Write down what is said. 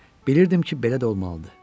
Bilirdim ki, belə də olmalıdır.